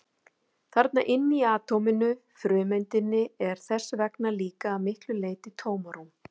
Þarna inni í atóminu, frumeindinni, er þess vegna líka að miklu leyti tómarúm!